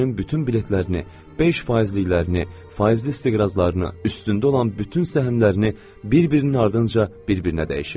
Özünün bütün biletlərini, beş faizliklərini, faizli istiqrazlarını, üstündə olan bütün səhmlərini bir-birinin ardınca bir-birinə dəyişirdi.